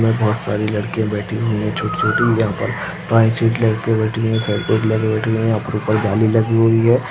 यहा बोहोत सारी लड़कीया बैठी हुई है जो की यहाँ पर पाय चिट लेके बैठी है पर बैठी है यहाँ पर उपर जाली लगी हुई हैं।